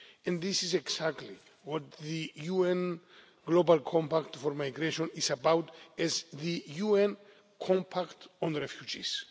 And this is exactly what the UN Global Compact for Migration is about, as the UN compact on refugees.